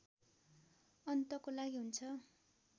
अन्तको लागि हुन्छ